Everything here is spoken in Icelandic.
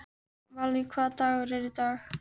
Valý, hvaða dagur er í dag?